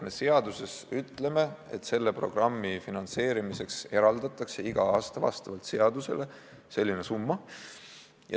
Me seaduses ütleme, et selle programmi finantseerimiseks eraldatakse iga aasta vastavalt seadusele selline summa.